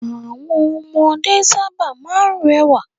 Àwọn ọmọdé sábà máa ń rẹwà.